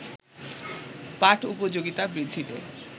পাঠ-উপযোগিতা বৃদ্ধিতে